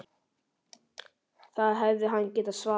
Það hefði hann getað svarið.